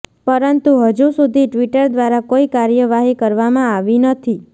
પરંતુ હજુ સુધી ટ્વિટર દ્વારા કોઈ કાર્યવાહી કરવામાં આવી નથી